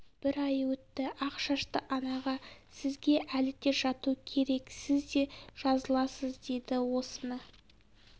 бір ай өтті ақ шашты анаға сізге әлі де жату керек сіз де жазыласыз деді осыны